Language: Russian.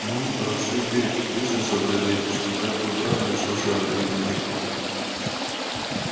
ну ротшильды быстро сообразили что как и убрали нашего шарля ибо нехуй